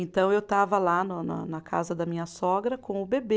Então, eu estava lá na na na casa da minha sogra com o bebê,